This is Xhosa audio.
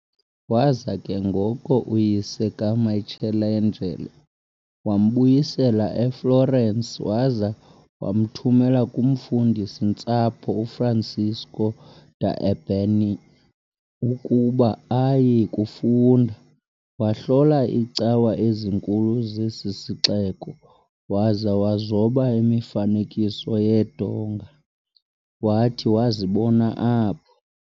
Waza ke ngoko uyise kaMichelangelo wambuyisela eFlorence waza wamthumela kumfundisi-ntsapho uFrancesco da Urbino ukuba aye kufunda, . Wahlola iicawa ezinkulu zesi sixeko, waza wazoba imifanekiso yeendonga wathi wazibona apho.